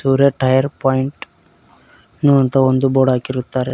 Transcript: ರ್ಯ tyre point ಉ ಅಂತ ಒಂದು ಬೋರ್ಡ್ ಹಾಕಿರುತ್ತಾರೆ.